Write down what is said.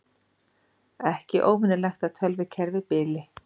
Ekki óvenjulegt að tölvukerfi bili